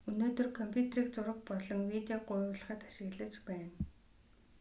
өнөөдөр компьютерийг зураг болон видеог гуйвуулахад ашиглаж байна